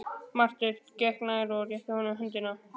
Marteinn gekk nær og rétti honum höndina.